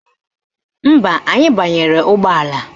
Mba, anyị banyere n'ụgbọala